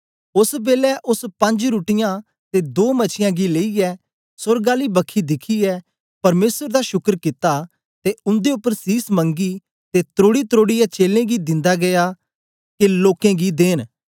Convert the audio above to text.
ओस बेलै ओस पंज रुट्टीयाँ ते दो मछीयां गी लेईयै सोर्ग आली बखी दिखियै परमेसर दा शुकर कित्ता ते उन्दे उपर सीस मंगी ते त्रोड़ीत्रोड़ीऐ चेलें गी दिन्दा गीया दा के लोकें गी देन